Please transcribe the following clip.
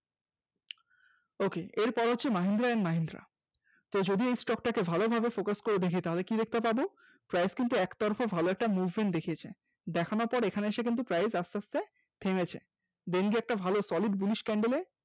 ok এরপরে হচ্ছে Mahindra and Mahindra যদি এই stock টাকে ভালো ভাবে Focus করে দেখি তাহলে কি দেখতে পাবো price কিন্তু একটার পর একটা ভালো movement দেখিয়েছে, দেখানোর পর এখানে এসে price আস্তে আস্তে daily একটা ভালো solid bullish candle এ